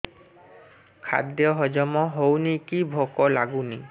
ଖାଦ୍ୟ ହଜମ ହଉନି କି ଭୋକ ଲାଗୁନି